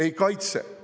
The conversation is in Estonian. Ei kaitse!